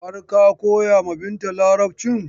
Har ka koya ma Binta Larabcin?